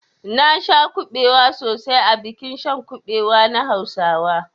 Nasha kabewa sosai a bikin shan kabewa na hausawa.